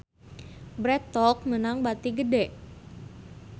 Bread Talk meunang bati gede